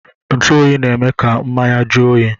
Ntuoyi na-eme ka mmanya jụọ oyi